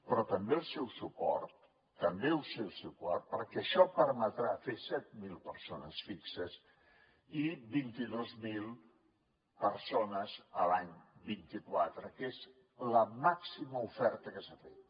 però també el seu suport també el seu suport perquè això permetrà fer set mil persones fixes i vint dos mil persones l’any vint quatre que és la màxima oferta que s’ha fet